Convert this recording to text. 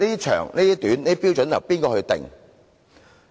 長短的標準由誰釐定？